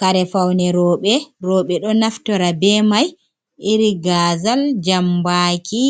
Kare faune roɓe, roɓe ɗo naftora be mai iri gazal jambaki